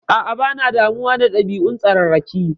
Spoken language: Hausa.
A'a, bana damuwa da ɗabi'un tsararraki.